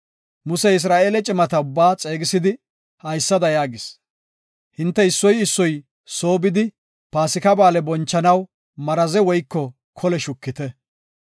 Musey Isra7eele cimata ubbaa xeegisidi haysada yaagis; “Hinte issoy issoy soo bidi paasika ba7aale bonchanaw maraze woyko kole shukite.